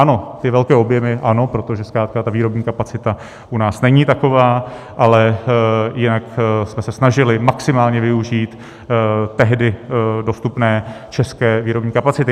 Ano, ty velké objemy ano, protože zkrátka ta výrobní kapacita u nás není taková, ale jinak jsme se snažili maximálně využít tehdy dostupné české výrobní kapacity.